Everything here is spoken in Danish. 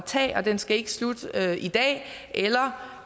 tage den skal ikke slutte i dag eller